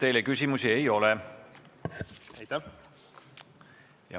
Teile küsimusi ei ole.